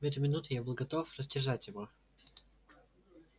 в эту минуту я был готов растерзать его